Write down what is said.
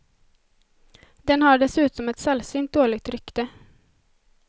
Den har dessutom ett sällsynt dåligt rykte.